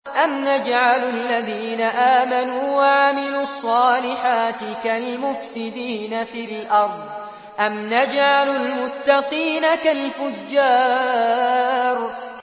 أَمْ نَجْعَلُ الَّذِينَ آمَنُوا وَعَمِلُوا الصَّالِحَاتِ كَالْمُفْسِدِينَ فِي الْأَرْضِ أَمْ نَجْعَلُ الْمُتَّقِينَ كَالْفُجَّارِ